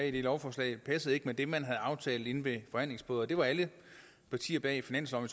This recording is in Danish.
i det lovforslag ikke passede med det man havde aftalt inde ved forhandlingsbordet det var alle partier bag finansloven